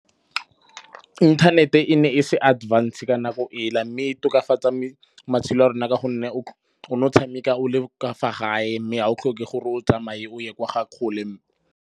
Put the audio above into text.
Inthanete e ne e se advanced ka nako ela. Mme e tokafatsa matshelo a rona ka gonne o ne o tshameka o le kwa fa gae mme ga o tlhoke gore o tsamaye o ye kwa ga kgole.